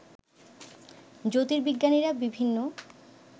জ্যোতির্বিজ্ঞানীরা বিভিন্ন